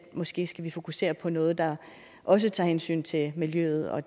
måske skal vi fokusere på noget der også tager hensyn til miljøet og